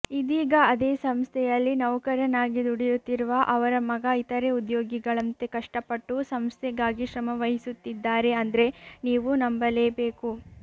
ಇದೀಗ ಅದೇ ಸಂಸ್ಥೆಯಲ್ಲಿ ನೌಕರನಾಗಿ ದುಡಿಯುತ್ತಿರುವ ಅವರ ಮಗ ಇತರೆ ಉದ್ಯೋಗಿಗಳಂತೆ ಕಷ್ಟಪಟ್ಟು ಸಂಸ್ಥೆಗಾಗಿ ಶ್ರಮವಹಿಸುತ್ತಿದ್ದಾರೆ ಅಂದ್ರೆ ನೀವು ನಂಬಲೇಬೇಕು